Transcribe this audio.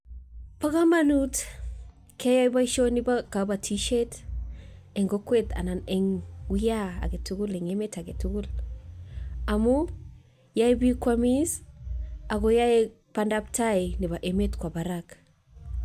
Ko kamanut keyai boishoni bo kabatishet eng kokwet anan eng wuiyan agetugul eng emet agetugul, amu yai bik koamis ago yaei bandabtai nebo emet kowa barak.